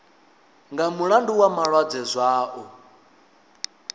nga mulandu wa malwadze zwao